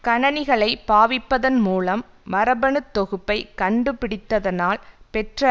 கணனிகளைப்பாவிப்பதன் மூலம் மரபணுத்தொகுப்பை கண்டுபிடித்த்தனால் பெற்ற